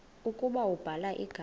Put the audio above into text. ukuba ubhala igama